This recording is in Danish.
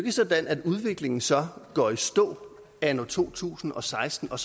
er sådan at udviklingen så går i stå anno to tusind og seksten og